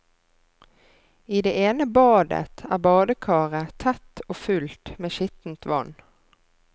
I det ene badet er badekaret tett og fullt med skittent vann.